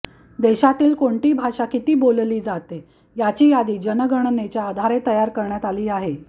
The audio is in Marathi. देशातील कोणती भाषा किती बोलली जाते याची यादी जनगणनेच्या आधारे तयार करण्यात आली आहे